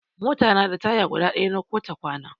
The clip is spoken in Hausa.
Mota na da taya guda ɗaya na ko ta kwana.